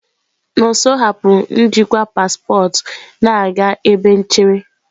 Nonso hapụrụ njikwa paspọtụ na-aga ebe nchere.